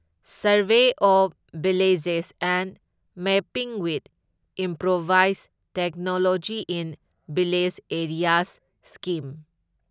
survey of villages and mapping with improvise technology in village areas scheme